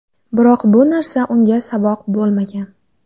Biroq bu narsa unga saboq bo‘lmagan.